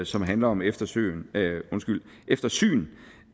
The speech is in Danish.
som handler om eftersyn eftersyn